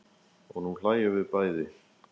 Og nú hlæjum við bæði.